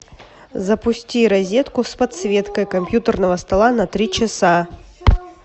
запусти розетку с подсветкой компьютерного стола на три часа